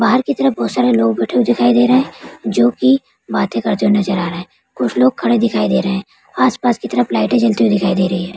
बाहर के तरफ बहुत सारे लोग बैठे हुए दिखाई दे रहे हैं जो कि बाते करते हुए नजर आ रहे हैं कुछ लोग खड़े दिखाई दे रहे हैं आस-पास की तरफ लाइटें जलती हुई दिखाई दे रही हैं।